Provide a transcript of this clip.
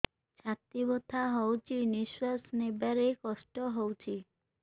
ଛାତି ବଥା ହଉଚି ନିଶ୍ୱାସ ନେବାରେ କଷ୍ଟ ହଉଚି